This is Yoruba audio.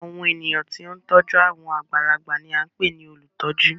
Awọn ènìyàn tí o n tọju awọn àgbàlagbà ní a npè ní olutọju